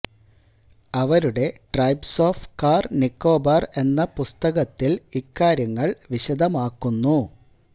അവരുടെ tribes of Car Nicobar എന്ന പുസ്തകത്തില് ഇക്കാര്യങ്ങള് വിശദമാക്കുന്നു